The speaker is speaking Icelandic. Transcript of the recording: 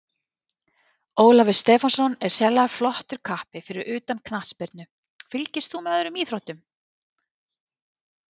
Ólafur Stefánsson er sérlega flottur kappi Fyrir utan knattspyrnu, fylgist þú með öðrum íþróttum?